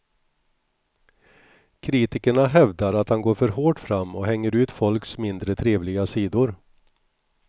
Kritikerna hävdar att han går för hårt fram och hänger ut folks mindre trevliga sidor.